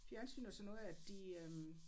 Fjernsynet og sådan noget at de øh